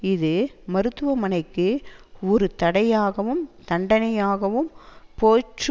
இது மருத்துவமனைக்கு ஒரு தடையாகவும் தண்டனையாகவும் போயிற்று